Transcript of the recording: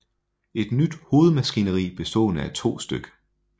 Et nyt hovedmaskineri bestående af 2 stk